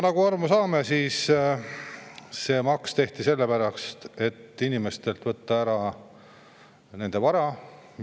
Nagu me aru saame, see maks tehti sellepärast, et inimestelt võtta ära nende vara.